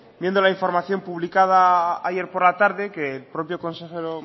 viendo la información publicada ayer por la tarde que el propio consejero